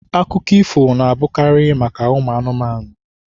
Akụkọ ifo na-abụkarị maka ụmụ anụmanụ.